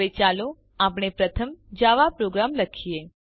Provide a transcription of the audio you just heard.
હવે ચાલો આપણો પ્રથમ જાવા પ્રોગ્રામ લખીએ